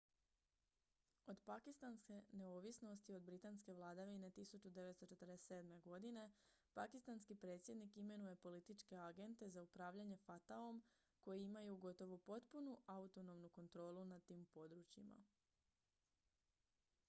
od pakistanske neovisnosti od britanske vladavine 1947. godine pakistanski predsjednik imenuje političke agente za upravljanje fata-om koji imaju gotovo potpunu autonomnu kontrolu nad tim područjima